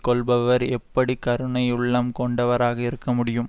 கொள்பவர் எப்படி கருணையுள்ளம் கொண்டவராக இருக்க முடியும்